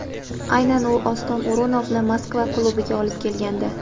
Aynan u Oston O‘runovni Moskva klubiga olib kelgandi.